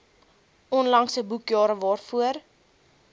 onlangse boekjare waarvoor